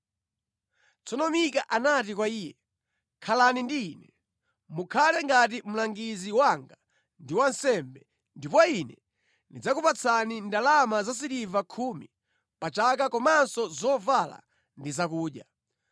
Tsono Mika anati kwa iye, “Khalani ndi ine. Mukhale ngati mlangizi wanga ndi wansembe, ndipo ine ndizikupatsani ndalama za siliva khumi pa chaka komanso zovala ndi zakudya.”